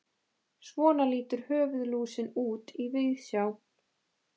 svona lítur höfuðlúsin út í víðsjá